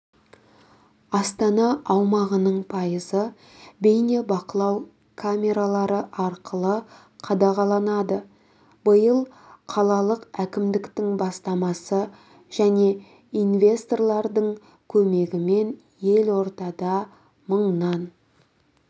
астана аумағының пайызы бейнебақылау камералары арқылы қадағаланады биыл қалалық әкімдіктің бастамасы және инвесторлардың көмегімен елордада мыңнан